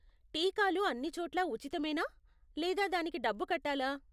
టీకాలు అన్ని చోట్లా ఉచితమేనా, లేదా దానికి డబ్బు కట్టాలా?